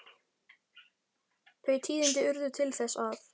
Þau tíðindi urðu til þess að